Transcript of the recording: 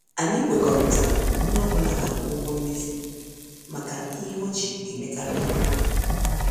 Anyị kwekọrịtara na onye ọ bụla ga- akwụ ụgwọ mmezi maka ihe ọ ji emekari ihe.